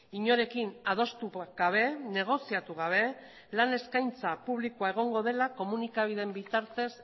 inorekin adostu gabe negoziatu gabe lan eskaintza publikoa egongo dela komunikabide bitartez